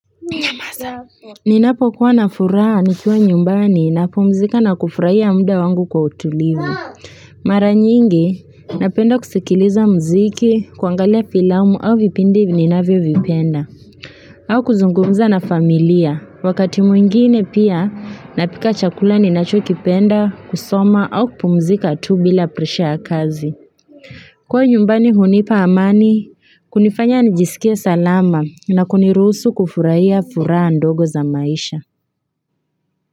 Ninapo kuwa na furaha nikiwa nyumbani napumzika na kufurahia mda wangu kwa utulivu. Mara nyingi, napenda kusikiliza mziki, kuangalia filamu au vipindi ninavyovipenda. Au kuzungumza na familia, wakati mwingine pia napika chakula ninachokipenda, kusoma au kupumzika tu bila presha ya kazi. Kuwa nyumbani hunipa amani, kunifanya nijisikie salama na kuniruhusu kufurahia furaha ndogo za maisha.